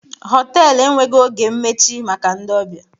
họtelu enweghị oge mmechi maka ndị ọbịa